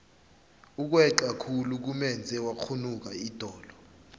ukweca khulu kumenze wakghunuka idolo